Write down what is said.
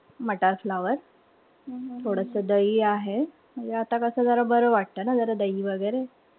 मटार flower थोडस दही आहे. म्हणजे आता कस जरा बरं वाटत ना दही वगैरे.